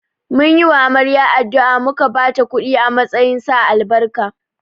Mun yi wa amarya addu’a, muka ba ta kudi a matsayin sa albarka